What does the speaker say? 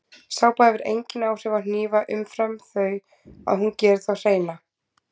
Sápa hefur engin áhrif á hnífa umfram þau að hún gerir þá hreina.